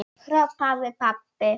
hrópaði pabbi.